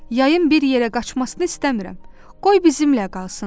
Yayın bir yerə qaçmasını istəmirəm, qoy bizimlə qalsın.